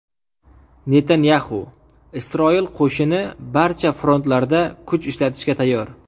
Netanyaxu: Isroil qo‘shini barcha frontlarda kuch ishlatishga tayyor.